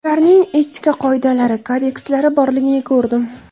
Ularning etika qoidalari, kodekslari borligini ko‘rdim.